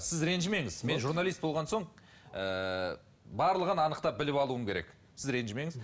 сіз ренжімеңіз мен журналист болған соң ыыы барлығын анықтап біліп алуым керек сіз ренжімеңіз